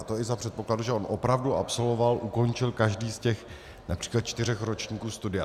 A to i za předpokladu, že on opravdu absolvoval, ukončil každý z těch například čtyřech ročníků studia.